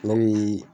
Ne bi